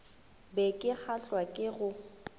be ke kgahlwa ke go